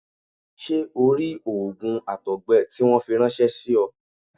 Ṣé o rí òògùn àtọ̀gbẹ tí wọ́n fi ráńṣẹ́ sí ọ?